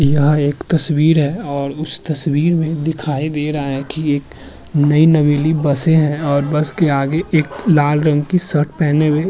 यह एक तस्वीर है और उस तस्वीर में दिखाई दे रहा है की एक नई नवेली बसे हैं और बस के आगे एक लाल रंग की शर्ट पहने हुए --